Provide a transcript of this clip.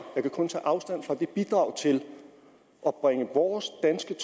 jeg kan kun tage afstand fra det bidrag til at bringe vores danske